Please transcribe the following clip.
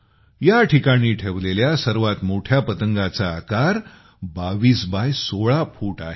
या ठिकाणी ठेवलेल्या सर्वात मोठ्या पतंगाचा आकार 22 बाय 16 फूट आहे